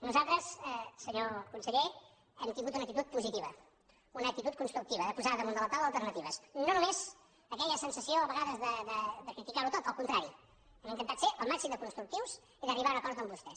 nosaltres senyor conseller hem tingut una actitud positiva una actitud constructiva de posar damunt de la taula alternatives i no només aquella sensació a vegades de criticar ho tot al contrari hem intentat ser el màxim de constructius i d’arribar a un acord amb vostès